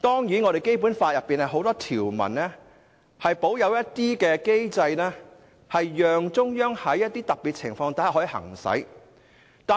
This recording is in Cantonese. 此外，《基本法》多項條文均保有若干機制，讓中央在一些特別情況下行使。